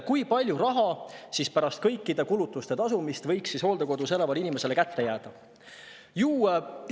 Kui palju raha pärast kõikide kulutuste tegemist võiks hooldekodus elavale inimesele kätte jääda?